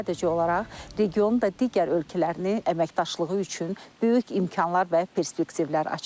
Sadəcə olaraq regionu və digər ölkələrini əməkdaşlığı üçün böyük imkanlar və perspektivlər açır.